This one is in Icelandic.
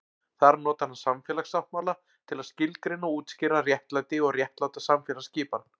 Þar notar hann samfélagssáttmála til að skilgreina og útskýra réttlæti og réttláta samfélagsskipan.